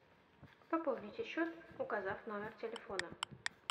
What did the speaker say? пополните счет указав номер телефона